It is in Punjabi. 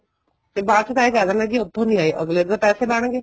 ਫ਼ਿਰ ਬਾਅਦ ਚੋ ਤਾਂ ਇਹ ਕਹਿ ਦਿੰਨੇ ਉੱਥੋ ਨਹੀਂ ਆਏ ਅੱਗਲੇ ਦੇ ਤਾਂ ਪੈਸੇ ਬਣ ਗਏ